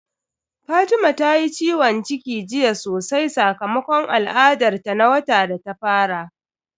Fatima ta yi ciwon ciki jiya sosai sakamakon al'adar ta na wata da ta fara.